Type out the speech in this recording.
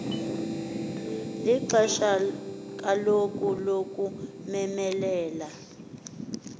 lixesha kaloku lokumemelela